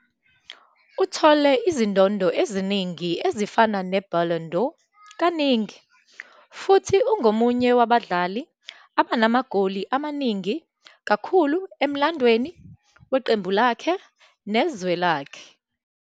Uthole izindondo eziningi ezifana neBallon d'Or kaningi, futhi ungomunye wabadlali abanamagoli amaningi kakhulu emlandweni weqembu lakhe nezwe lakhe.